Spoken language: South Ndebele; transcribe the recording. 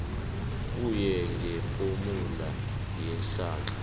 kuye ngefomula yeenhlahla